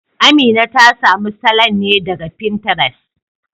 Amina ta samu salon ne daga Fintires